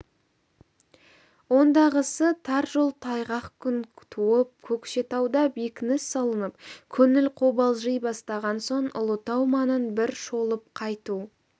ондағысы тар жол тайғақ күн туып көкшетауда бекініс салынып көңіл қобалжи бастаған соң ұлытау маңын бір шолып қайту